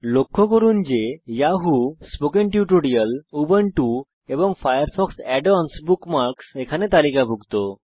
লক্ষ্য করুন যে যাহু স্পোকেন টিউটোরিয়ালস উবুন্টু এবং ফায়ারফক্স add অন্স বুকমার্কস এখানে তালিকাভুক্ত